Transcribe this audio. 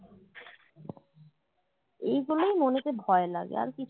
এইগুলোই মনেতে ভয় লাগে আর কি